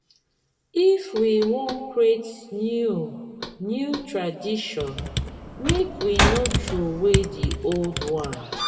if we wan create new new tradition make we no troway di old one.